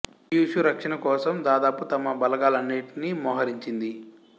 Kyushu రక్షణ కోసం దాదాపు తమ బలగాల నన్నిటినీ మోహరించింది